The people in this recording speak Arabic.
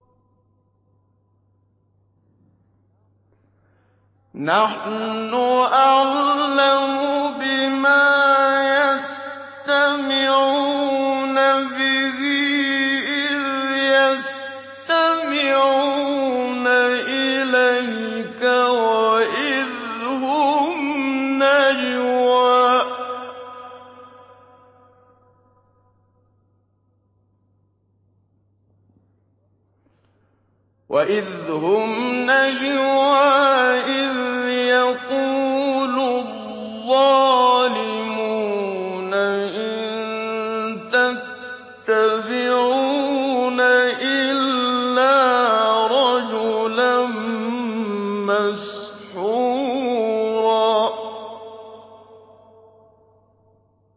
نَّحْنُ أَعْلَمُ بِمَا يَسْتَمِعُونَ بِهِ إِذْ يَسْتَمِعُونَ إِلَيْكَ وَإِذْ هُمْ نَجْوَىٰ إِذْ يَقُولُ الظَّالِمُونَ إِن تَتَّبِعُونَ إِلَّا رَجُلًا مَّسْحُورًا